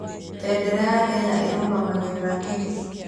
Bendera ya Kenya ĩrũgamĩrĩire kĩĩ?